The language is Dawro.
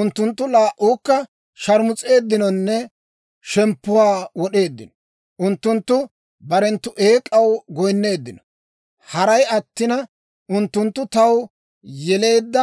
Unttunttu laa"uukka sharmus'eeddinonne shemppuwaa wod'eeddino. Unttunttu barenttu eek'aw goyinneeddino. Haray attina, unttunttu taw yeleedda